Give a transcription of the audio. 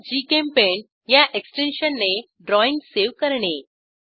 gchempaint ह्या एक्सटेन्शनने drawing save करणे